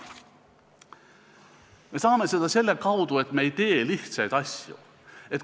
Me saame seda saavutada selle kaudu, et me ei tee lihtsaid asju.